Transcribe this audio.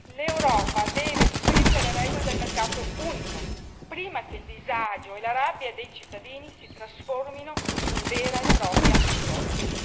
L'Europa deve riscrivere le regole del mercato unico, prima che il disagio e la rabbia dei cittadini si trasformino in vera e propria rivolta.